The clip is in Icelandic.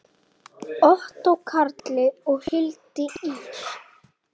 Ottó Karli og Hildi Ýr.